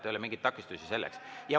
Ei ole mingeid takistusi selleks.